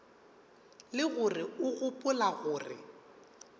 le gore o gopola gore